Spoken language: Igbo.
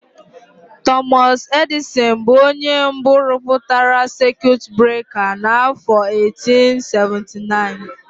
Tọmọs Edịsịn bụ onye mbụ rụpụtara sekiut breka n'afọ 1879.